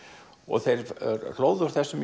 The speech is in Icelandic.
þeir hlóðu úr þessu